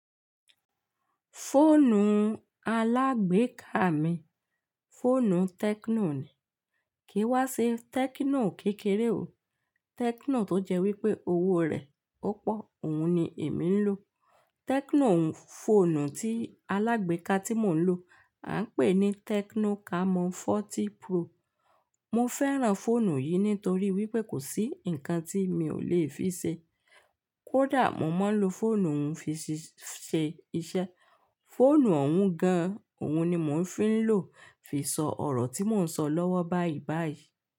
Fóònù alágbèéká mi, fóònù Tecno ni. Kìí wá se Tecno kékeré o. Tecno tó jẹ́ wípé owó rẹ̀ ó pọ̀, òhun ni èmi ń lò. Tecno fóònù tí alágbèéká tí mò ń lò, à ń pè ní Tecno Camon 40 Pro. Mo fẹ́ràn fóònù yìí nítorí wípé kò sí ǹkan tí mi ò lè fi ṣe. Kódà mo máa ń lo fóònù òhun fi ṣe iṣẹ́. Fóònù òhun gan-an, òhun ni mò ń fín lò fi sọ ọ̀rọ̀ tí mò ń sọ lọ́wọ́ báyìí báyìí.